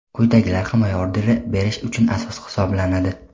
Quyidagilar himoya orderini berish uchun asos hisoblanadi:.